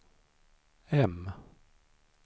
M